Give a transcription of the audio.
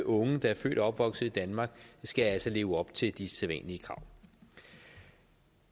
unge der er født og opvokset i danmark skal leve op til de sædvanlige krav